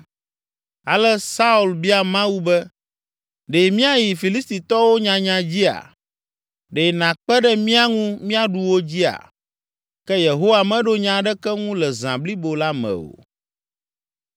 Ale Saul bia Mawu be, “Ɖe míayi Filistitɔwo nyanya dzia? Ɖe nàkpe ɖe mía ŋu míaɖu wo dzia?” Ke Yehowa meɖo nya aɖeke ŋu le zã blibo la me o.